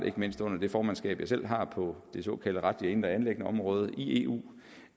ikke mindst under det formandsskab jeg selv har på det såkaldte retlige indre anliggendeområde i eu